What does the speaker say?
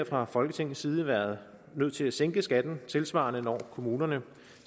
fra folketingets side været nødt til at sænke skatten tilsvarende når kommunerne